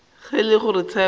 ge e le gore tshepo